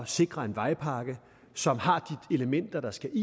sikre en vejpakke som har de elementer der skal